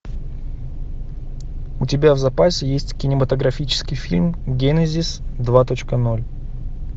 у тебя в запасе есть кинематографический фильм генезис два точка ноль